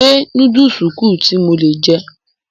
Ṣé núdùsù kù tí mo lè jẹ?